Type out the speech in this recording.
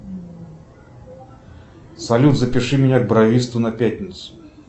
салют запиши меня к бровисту на пятницу